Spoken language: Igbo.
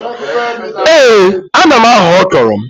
Ee ana m aghọ ọkrọ m